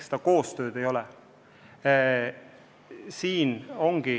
Seda koostööd ei ole.